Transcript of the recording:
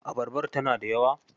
Abarbar tana da yawa?